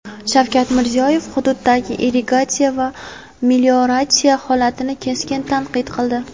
Shavkat Mirziyoyev hududdagi irrigatsiya va melioratsiya holatini keskin tanqid qildi.